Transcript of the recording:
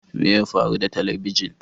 Me ya faru da talabijin?